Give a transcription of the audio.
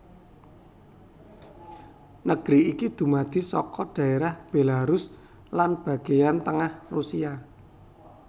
Negeri iki dumadi saka dhaerah Belarus lan bagéyan tengah Rusia